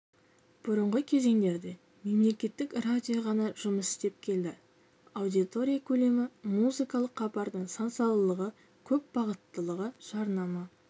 бұрынғы кезеңдерде мемлекеттік радио ғана жұмыс істеп келді аудитория көлемі музыкалық хабардың сан-салалығы көп бағыттылығы жарнама